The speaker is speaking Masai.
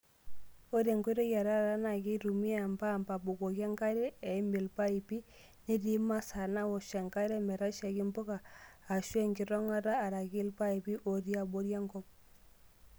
Ore nkoitoi e taata naa keitumiya empaamp aabukoki enkare eim ilpapipi netii masaa naawosh enkare metashaiki mpuka, aashu enkitong'ata araki ilpaipi otii abori enkop.